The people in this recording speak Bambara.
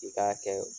I k'a kɛ